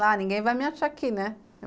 Lá, ninguém vai me achar aqui, né?